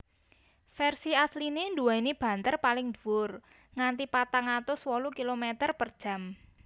Vèrsi asliné nduwèni banter paling dhuwur nganti patang atus wolu kilometer per jam